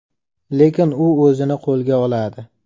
Lekin u o‘zini qo‘lga oladi.